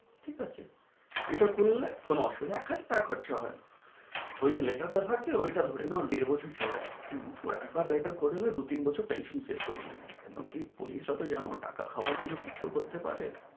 ঠিক আছ? এটা করলে কোন অসুবি এখাকটা খরচে হয় ওই letter টা থাকলে ওইটা ধরে নেও দেড় বছর চলবে হম একবার letter তা করে নিলে দু তিন বছর tension দূর হয়ে যায় কেনো কি পুলিশরা তো জানো টাকা খাওয়ার জন্য কিছু করতে পারে